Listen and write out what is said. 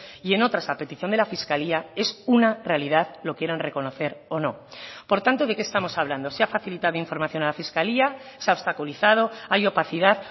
y en otras a petición de la fiscalía es una realidad lo quieran reconocer o no por tanto de qué estamos hablando se ha facilitado información a la fiscalía se ha obstaculizado hay opacidad